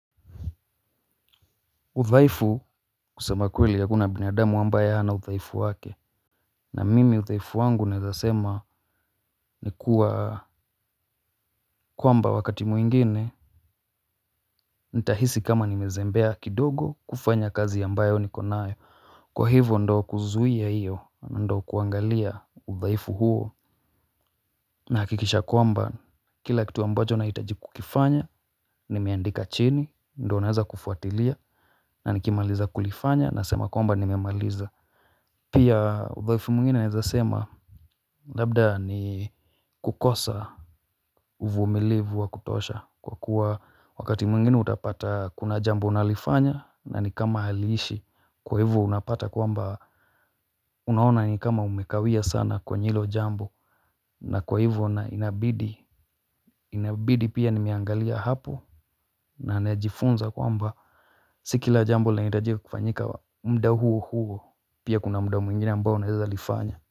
Udhaifu kusema kweli hakuna binadamu ambaye ana udhaifu wake na mimi udhaifu wangu nezasema nikua kwamba wakati mwingine nitahisi kama nimezembea kidogo kufanya kazi ambayo nikonayo kwa hivyo ndo kuzuia iyo ndo kuangalia udhaifu huo. Na hakikisha kwamba kila kitu ambacho nahitaji kukifanya nimeandika chini ndo naeza kufuatilia na nikimaliza kulifanya na sema kwamba nimemaliza. Pia udhaifu mwingine naeza sema labda ni kukosa uvumilivu wa kutosha. Kwa kuwa wakati mwingine utapata kuna jambo unalifanya. Na nikama haliishi kwa hivyo unapata kwamba unaona nikama umekawia sana kwenye hilo jambo. Na kwa hivyo inabidi. Inabidi pia nimeangalia hapo na najifunza kwamba si kila jambo linahitajika kufanyika mda huo huo. Pia kuna mda mwingine ambao unaweza lifanya.